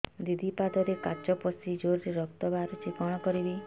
ଦିଦି ପାଦରେ କାଚ ପଶି ଜୋରରେ ରକ୍ତ ବାହାରୁଛି କଣ କରିଵି